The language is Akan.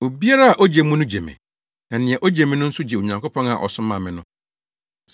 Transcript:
“Obiara a ogye mo no gye me, na nea ogye me no nso gye Onyankopɔn a ɔsomaa me no.